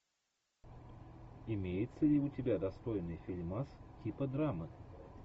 имеется ли у тебя достойный фильмас типа драмы